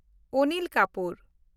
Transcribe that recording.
Anil Kapoor